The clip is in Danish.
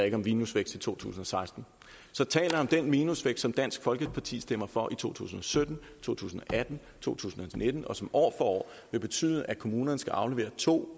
ikke om minusvækst i to tusind og seksten så taler jeg om den minusvækst som dansk folkeparti stemmer for i to tusind og sytten to tusind og atten to tusind og nitten og som år for år vil betyde at kommunerne skal aflevere to